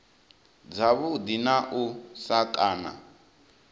dzavhuḓi na u sa kana